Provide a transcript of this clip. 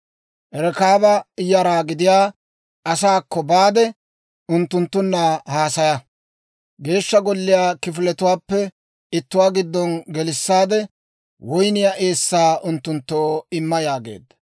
«Rekaaba yara gidiyaa asaakko baade, unttunttunna haasaya. Geeshsha Golliyaa kifiletuwaappe ittuwaa giddo gelissaade woyniyaa eessaa unttunttoo imma» yaageedda.